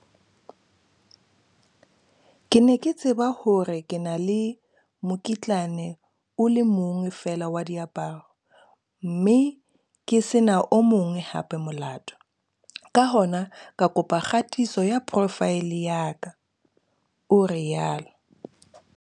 "Ke ne ke tseba hore ke na le mokitlane o le mong feela wa diaparo, mme ke se na o mong hape molato, ka hona ka kopa kgatiso ya profaele ya ka," o rialo.